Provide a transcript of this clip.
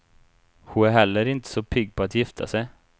Hon är heller inte så pigg på att gifta sig.